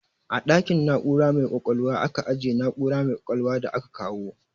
A ɗakin na'ura mai ƙwaƙwalwa aka ajiye na'ura mai ƙwaƙwalwa da aka kawo.